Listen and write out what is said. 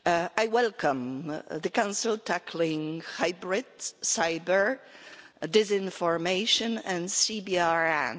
I welcome the Council tackling hybrids, cyber, disinformation and CBRN.